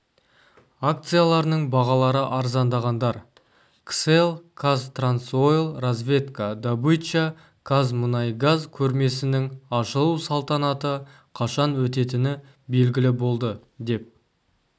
акцияларының бағалары арзандағандар кселл казтрансойл разведка добыча казмунайгаз көрмесінің ашылу салтанаты қашан өтетіні белгілі болды деп